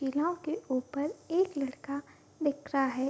टीला के ऊपर एक लड़का दिख रहा है ।